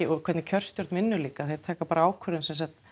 og hvernig kjörstjórn vinnur líka þeir taka bara ákvörðun